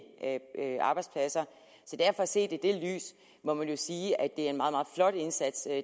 arbejdspladser så set i det lys må man jo sige at det er en meget meget flot indsats